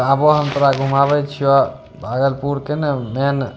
आवा हम तोरा घुमाबे छीया भागलपुर के ने मैंन --